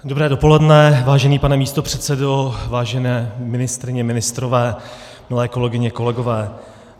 Dobré dopoledne, vážený pane místopředsedo, vážené ministryně, ministři, milé kolegyně, kolegové.